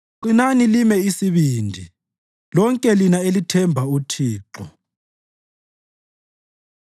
Qinani lime isibindi, lonke lina elithemba uThixo.